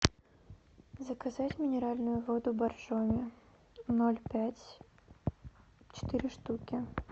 заказать минеральную воду боржоми ноль пять четыре штуки